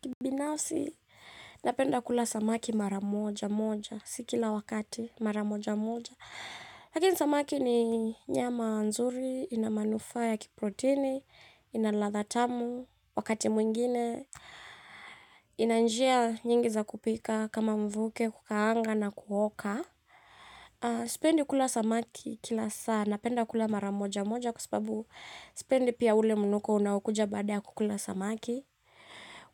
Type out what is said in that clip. Kibinafsi, napenda kula samaki mara moja moja, si kila wakati mara moja moja. Lakini samaki ni nyama nzuri, ina manufaa ya kiprotini, ina ladha tamu, wakati mwingine, inanjia nyingi za kupika, kama mvuke, kukaanga na kuoka. Sipendi kula samaki kila saa, napenda kula mara moja moja, kwa sababu sipendi pia ule mnuko unaokuja baada ya kukula samaki.